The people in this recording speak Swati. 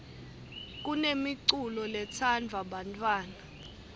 kunemiculo letsandvwa bantfwana